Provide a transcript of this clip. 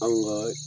Anw ŋaa